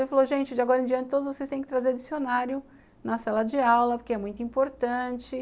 Ele falou, gente, de agora em diante, todos vocês têm que trazer dicionário na sala de aula, porque é muito importante.